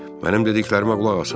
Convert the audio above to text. Mənim dediklərimə qulaq asın.